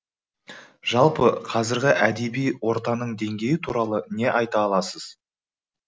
жалпы қазіргі әдеби ортаның деңгейі туралы не айта аласыз